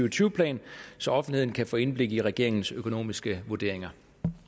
og tyve plan så offentligheden kan få indblik i regeringens økonomiske vurderinger